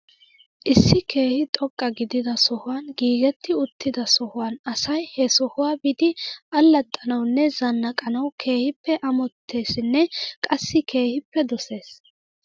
Issi keehi xoqqa gidida sohuwan giigetti uttida sohuwan asay he sohuwaa biidi alaxxanawnne zanaqqanaw keehippe amoteesinne qassi keehippe doses .